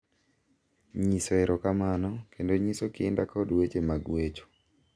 Nyiso erokamano, kendo nyiso kinda kod weche mag wecho,